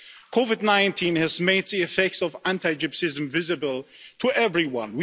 COVID 19 has made the effects of anti gypsyism visible to everyone.